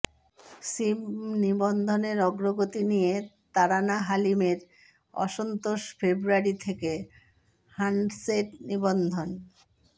সিম নিবন্ধনের অগ্রগতি নিয়ে তারানা হালিমের অসন্তোষ ফেব্রুয়ারী থেকে হ্যান্ডসেট নিবন্ধন